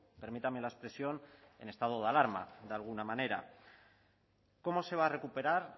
permítame la expresión en estado de alarma de alguna manera cómo se va a recuperar